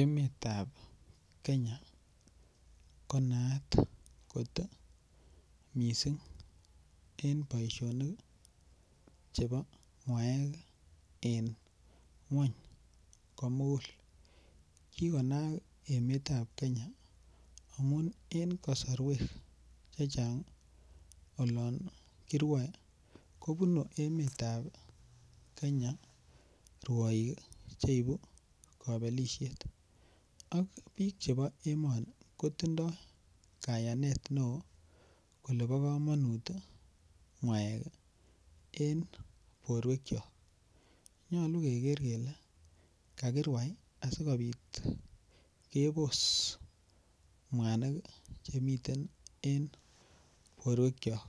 Emetab kenya konaat mising en boishonik Chebo ng'waek en ng'weny komugul. Kikonaak emeta kenya amun en kosarwek chechang olon kirwaei kobunu emetab kenya ruoik cheibu kabelishet. Ak biik chebo emoni kotindoi kayanet neo kole bo komonut ng'aek eng porwekchok. Nyolu keker kele kakirwai asipit kepos mwanik chemiten en porwekchok.